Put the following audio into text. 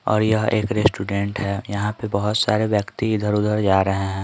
और यह एक रेस्टोरेंट है यहां पे बहुत सारे व्यक्ति इधर-उधर जा रहे हैं।